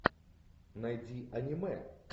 найди аниме